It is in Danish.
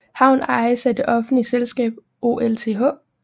Havnen ejes af det offentlige selskab OLTH